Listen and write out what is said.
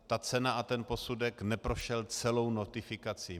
Ta cena a ten posudek neprošel celou notifikací.